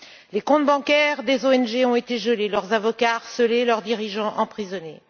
Les comptes bancaires des ONG ont été gelés, leurs avocats harcelés, leurs dirigeants emprisonnés.